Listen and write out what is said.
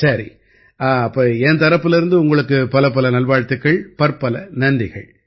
சரி அப்ப என் தரப்பிலிருந்து உங்களுக்குப் பலப்பல நல்வாழ்த்துக்கள் பற்பல நன்றிகள்